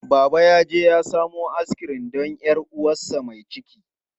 Baba yaje ya samo askirim don 'yar uwarsa mai ciki.